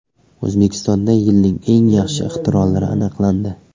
O‘zbekistonda yilning eng yaxshi ixtirolari aniqlandi.